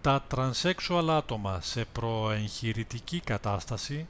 τα τρανσέξουαλ άτομα σε προ-εγχειρητική κατάσταση